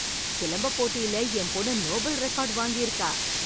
சிலம்பப் போட்டியில என் பொண்ணு நோபல் ரெக்கார்ட் வாங்கி இருக்கா.